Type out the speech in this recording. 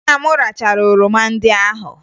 Nna m rachara oroma ndị ahụ